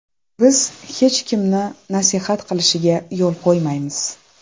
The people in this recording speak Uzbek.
Biz hech kimni nasihat qilishiga yo‘l qo‘ymaymiz.